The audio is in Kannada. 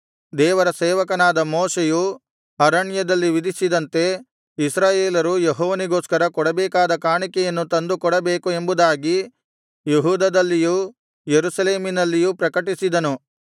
ದೇವರ ಸೇವಕನಾದ ಮೋಶೆಯು ಅರಣ್ಯದಲ್ಲಿ ವಿಧಿಸಿದಂತೆ ಇಸ್ರಾಯೇಲರು ಯೆಹೋವನಿಗೋಸ್ಕರ ಕೊಡಬೇಕಾದ ಕಾಣಿಕೆಯನ್ನು ತಂದು ಕೊಡಬೇಕು ಎಂಬುದಾಗಿ ಯೆಹೂದದಲ್ಲಿಯೂ ಯೆರೂಸಲೇಮಿನಲ್ಲಿಯೂ ಪ್ರಕಟಿಸಿದನು